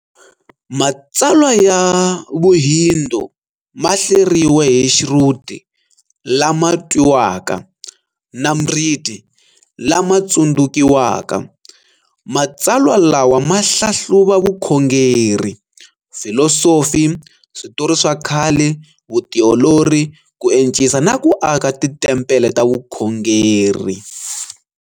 Matsalwa ya vuhindu mahleriwe hi Shruti, "Lama twiwaka", na Smriti, "Lama tsundzukiwaka". Matsalwa lawa ma hlahluva Vukhongeri, Filosofi, Switori swa khale, vutiolori, ku encisa na ku aka titempele ta vukhongeri.